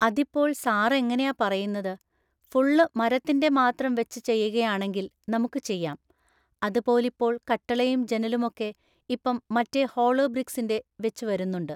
അതിപ്പോൾ സാറ് എങ്ങനെയാ പറയുന്നത്‌? ഫുള്ള് മരത്തിൻ്റെ മാത്രം വെച്ച് ചെയ്യുകയാണെങ്കില്‌ നമുക്ക് ചെയ്യാം. അതുപോലിപ്പോൾ കട്ടളയും ജനലുമൊക്കെ ഇപ്പം മറ്റേ ഹോളോബ്രിക്‌സിൻ്റെ വെച്ച് വരുന്നുണ്ട്